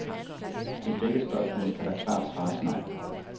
Til begge spørgsmål kan der klart svares nej.